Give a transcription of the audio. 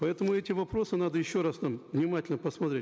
поэтому эти вопросы надо еще раз нам внимательно посмотреть